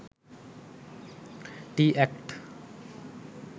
tea act